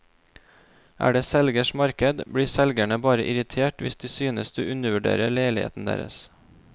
Er det selgers marked, blir selgerne bare irritert hvis de synes du undervurderer leiligheten deres.